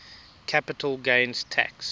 capital gains tax